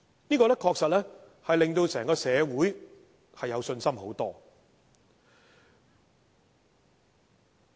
這樣確實令整個社會有較大信心。